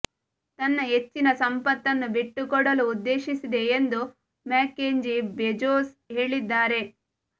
ತನ್ನ ಹೆಚ್ಚಿನ ಸಂಪತ್ತನ್ನು ಬಿಟ್ಟುಕೊಡಲು ಉದ್ದೇಶಿಸಿದೆ ಎಂದು ಮ್ಯಾಕೆಂಜಿ ಬೆಜೋಸ್ ಹೇಳಿದ್ದಾರೆ